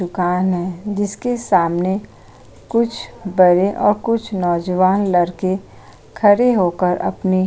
दुकान है जिसके सामने कुछ बड़े और कुछ नौजवान लड़के खड़े हो कर अपनी --